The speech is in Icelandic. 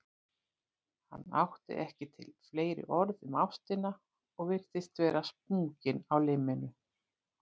Hann átti ekki til fleiri orð um ástina og virtist vera sprunginn á limminu.